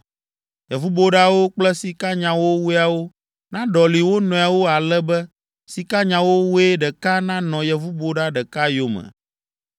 Yevuboɖawo kple sikanyawowoeawo naɖɔli wo nɔewo ale be sikanyawowoe ɖeka nanɔ yevuboɖa ɖeka yome.